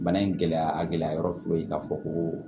Bana in gɛlɛya a gɛlɛya yɔrɔ foyi k'a fɔ koo